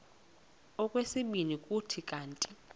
okwesibini kuthi kanti